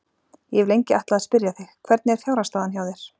Ég hef lengi ætlað að spyrja þig. hvernig er fjárhagsstaðan hjá þér?